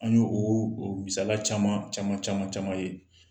An y'o o misaliya caman caman caman caman ye